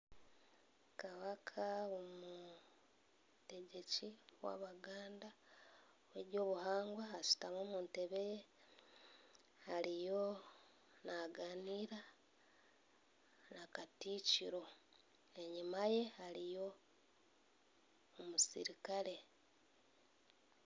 Kabaka omutegyeki w'Abaganda w'eby'obuhangwa ashutami omu ntebe ye ariyo naaganiira na Katikiro enyuma ye hariyo omusirikare.